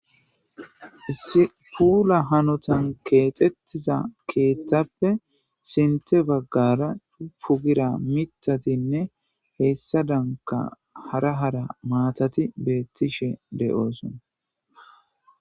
spuula hanotan keexettiza keettappe sinte baggara pu gira mitatinne heessa danka hara hara maatati beettishe de7oosona